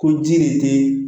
Ko ji de tɛ